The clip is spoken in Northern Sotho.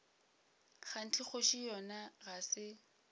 kganthe kgoši yona ga se